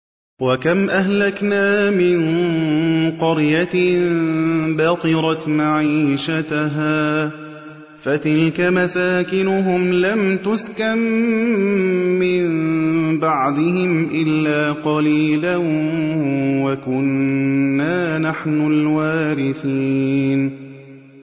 وَكَمْ أَهْلَكْنَا مِن قَرْيَةٍ بَطِرَتْ مَعِيشَتَهَا ۖ فَتِلْكَ مَسَاكِنُهُمْ لَمْ تُسْكَن مِّن بَعْدِهِمْ إِلَّا قَلِيلًا ۖ وَكُنَّا نَحْنُ الْوَارِثِينَ